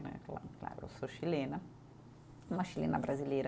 Claro, eu sou chilena, uma chilena brasileira.